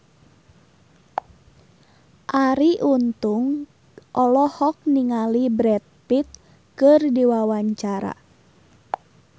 Arie Untung olohok ningali Brad Pitt keur diwawancara